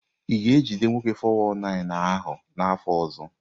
Ị ga-ejide nwoke 419 ahụ n'afọ ọzọ?